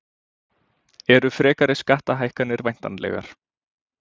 Eru frekari skattahækkanir væntanlegar